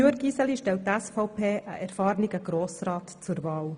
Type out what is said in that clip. Mit Jürg Iseli stellt die SVP einen erfahrenen Grossrat zur Wahl.